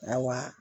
Awa